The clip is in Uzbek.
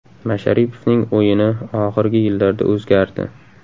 Masharipovning o‘yini oxirgi yillarda o‘zgardi.